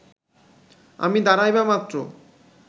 আমি দাঁড়াইবামাত্র